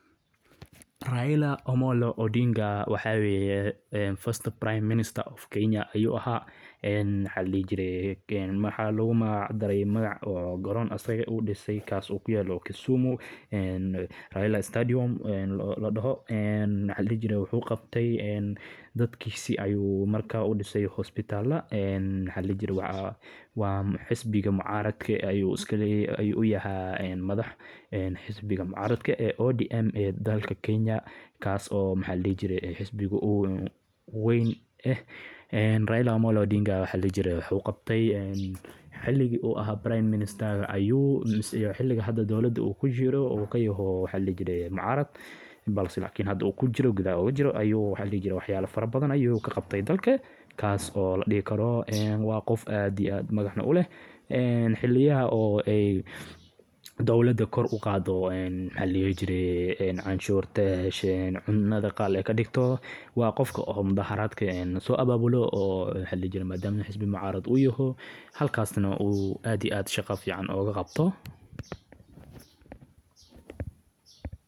raila omolo odinga wa ninkii ugu horeye priminister kenya ayuu ahaa waxalaihi jiray waxa loga maac daray goron asaga udisay ee kaas kuyelo kisumu ee ladaho raila stadium.ee marka daadkisa ayuu udisay hospitalo maaladihi jiri wa xisbiga mucaradka asagana uu aah madax ee xibiga mucaradka odm ee dalka kenya ee kaas oo aah xisbiga ugu weyn aah. raila odinga wuxuu qabtay xiligi uu ahaa priminister ee xiliga uu hada dowlada ugajiro uu yhy mucarad balse hada uu gudaho ugujiro waxyala badhan uu dalka ka qabtay taas oo la dihi kro qoof aad agac uleh xiliya dowlada eey cunshuur koor uqado ee cunado qaal kadigto wa qofka mucarado ee xisbigisa ababulo oo aad iyo aad sahqo ugu qabto